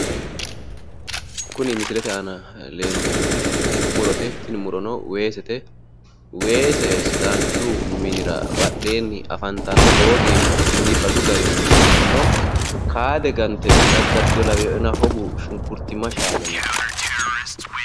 Kuni misilete aana leeltannoti murote. Tini murono weesete. Weese sidaanchu minira badheenni afantanno. Lowo geeshsha biifadu garinni no. Kaade gante daddartino lawinoena hogu shunkurtimma shaalino.